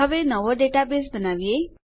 હવે નવો ડેટાબેઝ બનાવીશ